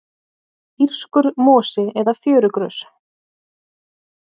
írskur mosi eða fjörugrös